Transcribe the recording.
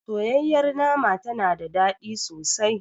Soyayyar nama tana da ɗadi sosai.